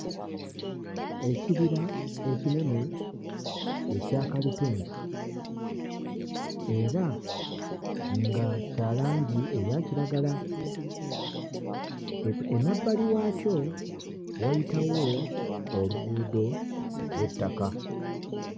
Ekibira ekinene ekya kalitunsi era nga kya langi eya kiragala. Emabbali waakyo wayitawo oluguudo olw'ettaka.